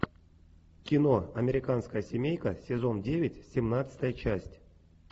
кино американская семейка сезон девять семнадцатая часть